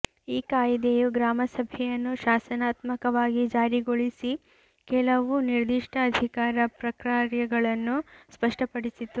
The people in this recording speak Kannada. ಈ ಕಾಯ್ದೆಯು ಗ್ರಾಮಸಭೆಯನ್ನು ಶಾಸನಾತ್ಮಕವಾಗಿ ಜಾರಿಗೊಳಿಸಿ ಕೆಲವು ನಿರ್ದಿಷ್ಟ ಅಧಿಕಾರ ಪ್ರಕಾರ್ಯಗಳನ್ನು ಸ್ಪಷ್ಟಪಡಿಸಿತು